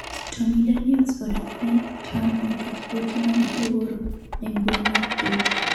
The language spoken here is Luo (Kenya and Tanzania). Stormy Daniels odonjone Trump nikech ote mane ooro e mbui mar twita